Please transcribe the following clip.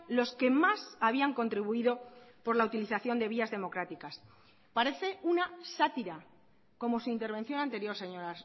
los que más habían contribuido por la utilización de vías democráticas parece una sátira como su intervención anterior señor